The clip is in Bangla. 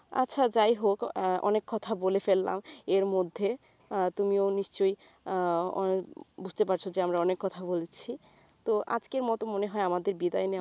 আচ্ছা যাইহোক অনেক কথা বলে ফেললাম এর মধ্যে আহ তুমিও নিশ্চয়ই আহ বুঝতে পারছো যে আমরা অনেক কথা বলছি তো আজকের মত মনে হয় আমাদের বিদায় নেওয়া